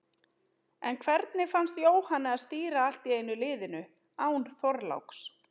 En hvernig fannst Jóhanni að stýra allt í einu liðinu, án Þorláks?